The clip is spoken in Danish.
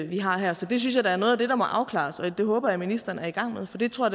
vi har her så det synes jeg da er noget af det der må afklares og det håber jeg ministeren er i gang med for det tror